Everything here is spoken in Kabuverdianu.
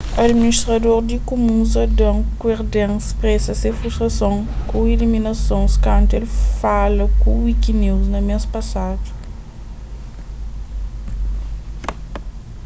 adiministrador di kumuns adam cuerden spresa se frustason ku iliminasons kantu el fala ku wikinews na mês pasadu